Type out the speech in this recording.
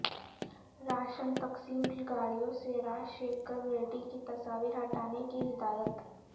ration تقسیم کی گاڑیوں سے راج شیکھر ریڈی کی تصاویر ہٹانے کی ہدایت